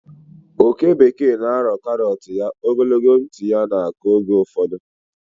oke bekee na-arọ karọt ya, ogologo ntị ya na-akụ oge ụfọdụ.